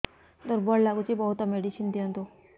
ଦୁର୍ବଳ ଲାଗୁଚି ବହୁତ ମେଡିସିନ ଦିଅନ୍ତୁ